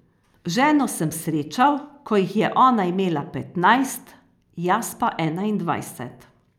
Ženo sem srečal, ko jih je ona imela petnajst, jaz pa enaindvajset.